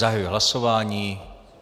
Zahajuji hlasování.